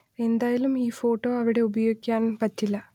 എന്തായാലും ഈ ഫോട്ടോ അവിടെ ഉപയോഗിക്കാൻ പറ്റില്ല